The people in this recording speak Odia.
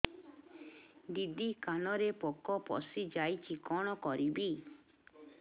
ଦିଦି କାନରେ ପୋକ ପଶିଯାଇଛି କଣ କରିଵି